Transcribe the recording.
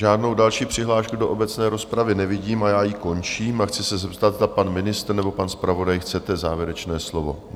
Žádnou další přihlášku do obecné rozpravy nevidím a já ji končím a chci se zeptat, zda pan ministr nebo pan zpravodaj - chcete závěrečné slovo?